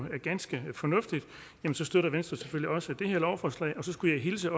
ganske fornuftigt støtter venstre selvfølgelig også det her lovforslag og så skulle jeg hilse